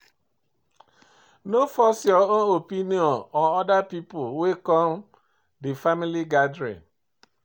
No force your own opinion on oda pipo wey come di family gathering